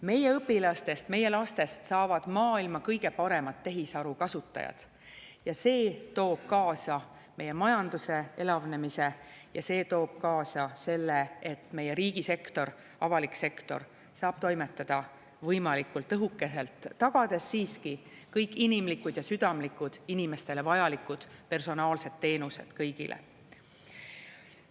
Meie õpilastest, meie lastest saavad maailma kõige paremad tehisaru kasutajad ja see toob kaasa meie majanduse elavnemise ja see toob kaasa selle, et meie riigisektor, avalik sektor saab toimetada võimalikult õhukeselt, tagades siiski kõik inimlikud ja südamlikud inimestele vajalikud personaalsed teenused kõigile.